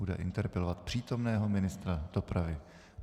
Bude interpelovat přítomného ministra dopravy.